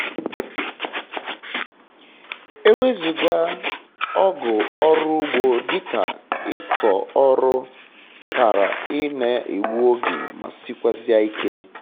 ewezuga ọgụ ọrụ ugbo dịka ịkọ ọrụ kara ị na-egbu oge ma sikwazie ike